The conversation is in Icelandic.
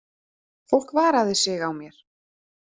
Fólk varaði sig á mér.